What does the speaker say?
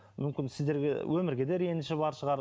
мүмкін сіздерге өмірге де реніші бар шығар